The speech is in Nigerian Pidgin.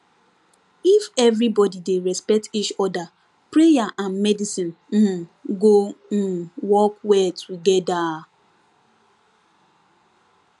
if everybody dey respect each other prayer and medicine um go um work well together